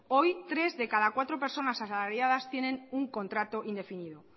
hoy tres de cada cuatro personas asalariadas tienen un contrato indefinido